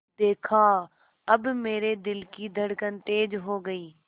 देखा अब मेरे दिल की धड़कन तेज़ हो गई